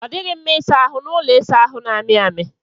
Ọ dịghị mma ịsa ahụ n'ụlọ ịsa ahụ na-amị amị